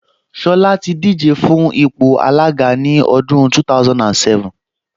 Ṣọlá ti díje fún ipò alága ní ọdún 2007